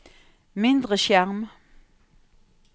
mindre skjerm